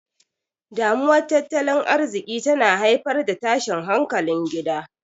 Damuwar Tattalin Arziki tana haifar da tashin hankalin gida.